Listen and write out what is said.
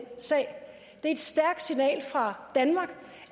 et stærkt signal fra danmark